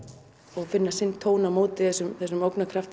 og finna sinn tón á móti þessum